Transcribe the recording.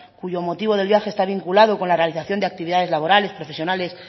cuyo motivo del viaje está vinculado con la realización de actividades laborales profesionales